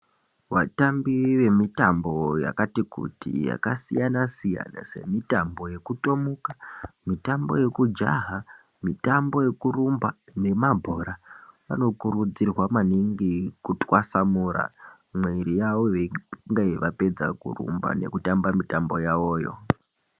Vatambi vemitambo yakati kuti yakasiyana-siyana semitambo yokutomuka, mitambo yekujaha, mitambo yekurumba nemabhora vanokurudzirwa maningi kutwasamura mwiri yavo vega veinge vapedze kurumba nekutamba mitambo yavoyo.